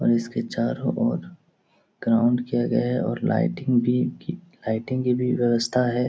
और इसके चारों ओर ग्राउंड किया गया है और लाइटिंग भी की लाइटिंग की भी व्यवस्था है।